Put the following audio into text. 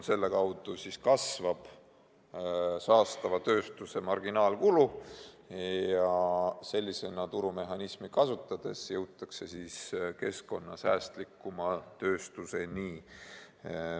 Selle kaudu kasvab saastava tööstuse marginaalkulu ja turumehhanismi sellisena kasutades jõutakse keskkonnasäästlikuma tööstuseni.